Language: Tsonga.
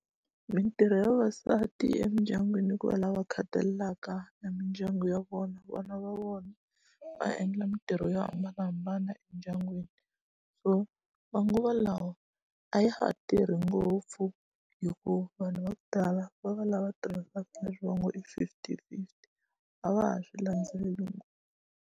Mitirho ya vavasati emindyangwini i ku va lava va khathalelaka e mindyangu ya vona vana va vona va endla mitirho yo hambanahambana endyangwini so manguva lawa a ya ha tirhi ngopfu hikuva vanhu va ku tala va va lava tirhisaka leswi va ngo i fifty fifty a va ha swi landzeleli .